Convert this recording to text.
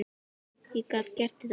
Ég gat gert þetta.